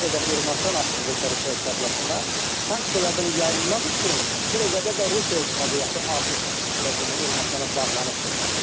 Nə qədər Ermənistan asılıdırsa Rusiya iqtisadiyyatından, sanksiyalardan yayınmaq üçün bir o qədər də Rusiya iqtisadiyyatı artıq demək Ermənistana bağlanıbdır.